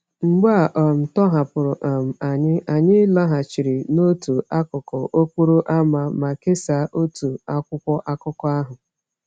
Mgbe a um tọhapụrụ um anyị, anyị laghachiri n’otu akụkụ okporo ámá ma kesaa otu akwụkwọ akụkọ ahụ.